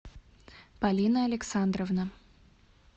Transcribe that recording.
полина александровна